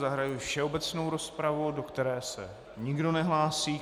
Zahajuji všeobecnou rozpravu, do které se nikdo nehlásí.